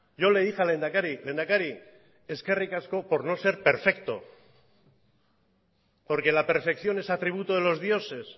yo le dije al lehendakari lehendakari eskerrik asko por no ser perfecto porque la perfección es atributo de los dioses